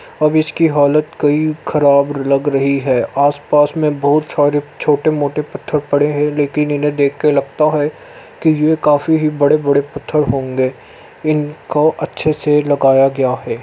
अब इसकी हालत कई खराब लग रही है। आस पास मे बोहोत सारे छोटे मोटे पत्थर पड़े है लेकिन इन्हे देख के लगता है कि ये काफ़ी ही बड़े बड़े पत्थर होंगे इनको अच्छे से लगाया गया है।